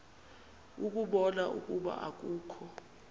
ukubona ukuba akukho